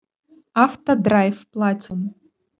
автодрайв платинум